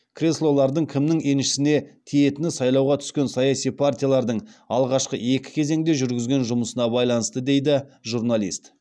креслолардың кімнің еншісінде тиетіні сайлауға түскен саяси партиялардың алғашқы екі кезеңде жүргізген жұмысына байланысты дейді журналист